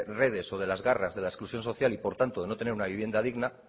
redes o de las garras de las exclusión social y por tanto de no tener una vivienda digna